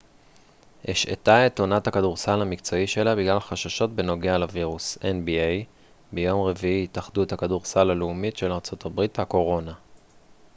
"ביום רביעי התאחדות הכדורסל הלאומית של ארה""ב nba השעתה את עונת הכדורסל המקצועי שלה בגלל חששות בנוגע לווירוס הקורונה.